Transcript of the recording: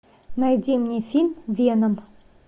найди мне фильм веном